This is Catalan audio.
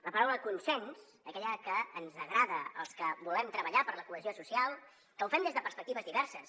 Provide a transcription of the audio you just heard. la paraula consens aquella que ens agrada als que volem treballar per la cohesió social que ho fem des de perspectives diverses